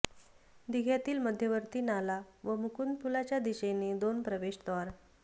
दिघ्यातील मध्यवर्ती नाला व मुकुंद पुलाच्या दिशेने दोन प्रवेशद्वार